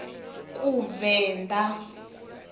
kuvenḓa